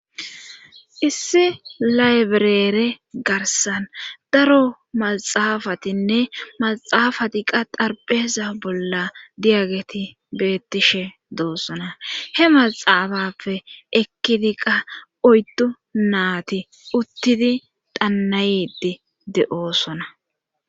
issi laybireere garsan daro maxaafatinne maxaafati qa darpheza bolla diyageti beettishe doossona he maxaafappe ekkidi qa oyddu naati uttidi dannayiti de7oosona